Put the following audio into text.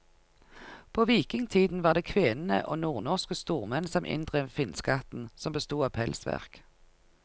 På vikingtiden var det kvenene og nordnorske stormenn som inndrev finnskatten, som bestod av pelsverk.